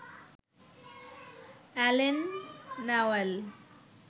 Allen Newell